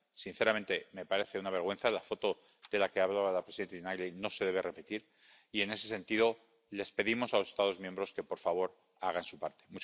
Sinceramente, me parece una vergüenza la foto de la que hablaba la presidenta Tinagli y no se debe repetir, y, en ese sentido, les pedimos a los Estados miembros que, por favor, hagan su parte.